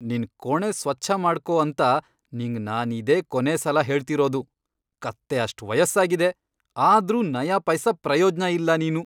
ನಿನ್ ಕೋಣೆ ಸ್ವಚ್ಛ ಮಾಡ್ಕೋ ಅಂತ ನಿಂಗ್ ನಾನಿದೇ ಕೊನೇ ಸಲ ಹೇಳ್ತಿರೋದು.. ಕತ್ತೆ ಅಷ್ಟ್ ವಯಸ್ಸಾಗಿದೆ, ಆದ್ರೂ ನಯಾಪೈಸ ಪ್ರಯೋಜ್ನ ಇಲ್ಲ ನೀನು.